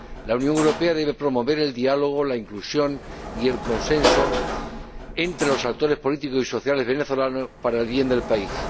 La Unión Europea debe promover el diálogo, la inclusión y el consenso entre los actores políticos y sociales venezolanos para el bien del país.